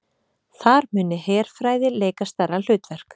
Þar muni herfræði leika stærra hlutverk